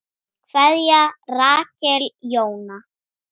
Kveðja, Rakel Jóna.